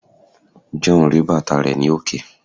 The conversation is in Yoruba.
John ri bàtà rẹ ni òkè